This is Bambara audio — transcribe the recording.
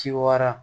Ci wara